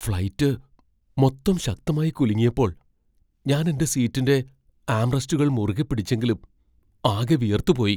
Flight മൊത്തം ശക്തമായി കുലുങ്ങിയപ്പോൾ ഞാൻ എന്റെ സീറ്റിന്റെ ആംറെസ്റ്റുകൾ മുറുകെ പിടിച്ചെങ്കിലും ആകെ വിയർത്തുപോയി.